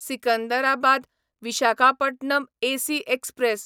Secunderabad Visakhapatnam AC express